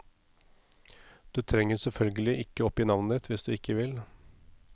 Du trenger selvfølgelig ikke oppgi navnet ditt hvis du ikke vil.